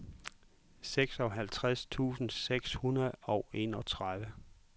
seksoghalvtreds tusind seks hundrede og enogtredive